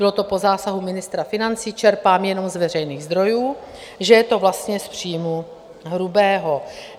Bylo to po zásahu ministra financí - čerpám jenom z veřejných zdrojů - že je to vlastně z příjmu hrubého.